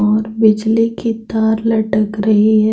और बिजली की तार लटक रही है ।